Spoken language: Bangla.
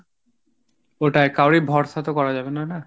ওটাই কারুরই ভরসা তো করা যাবেনা না।